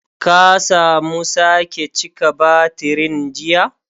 Ka samu sake cika batirin jiya?